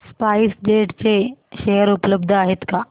spice jet चे share उपलब्ध आहेत का